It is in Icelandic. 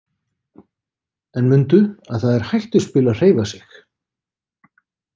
En mundu að það er hættuspil að hreyfa sig.